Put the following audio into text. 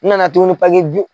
N nana tuguni bi